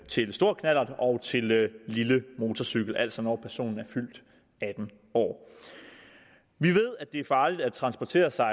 til stor knallert og til lille motorcykel altså når personen er fyldt atten år vi ved det er farligt at transportere sig